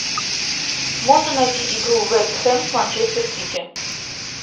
можно найти игру вест хэм с манчестер сити